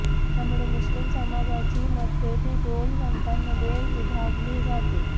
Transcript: त्यामुळे मुस्लीम समाजाची मतपेटी दोन गटांमध्ये विभागली जाते